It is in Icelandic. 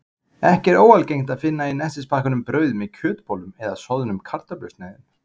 Ekki er óalgengt að finna í nestispakkanum brauð með kjötbollum eða soðnum kartöflusneiðum.